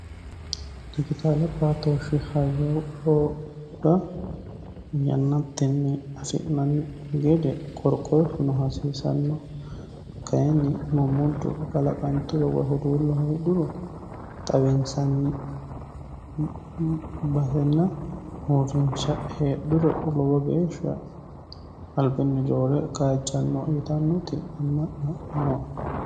dijitaale batooshshi hayra yannattinni afi'nanni gede korqoshuno hasiisanno kayinni mommuddu kalaqanturo wa huduullo heedhuru xawiinsanni basenna huurrinsha heedhuro lowo geeshsha albinni roore kaajjanno yitannoti nooe.